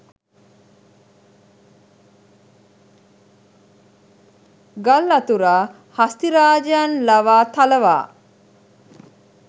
ගල් අතුරා හස්තිරාජයන් ලවා තලවා